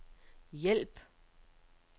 hjælp